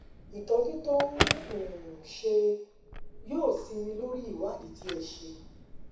ìtọjú tó ń um ṣe é um ṣe é yóò sinmi lórí ìwádìí tí ẹ ṣe